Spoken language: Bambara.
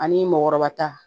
Ani mɔkɔrɔba ta